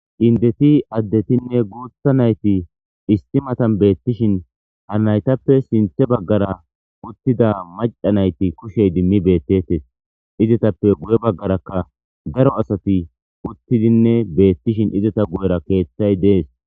Indeti addetinne guutha nayti issi matan beettishin ha naytappe sinthe baggara uttida macca nayti kushe idimmi beettetes izetappe guye baggarakka daro asati uttidinne beettishin izeta guyera keeththay de'es.